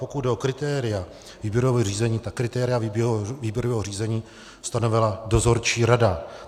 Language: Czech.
Pokud jde o kritéria výběrového řízení, tak kritéria výběrového řízení stanovila dozorčí rada.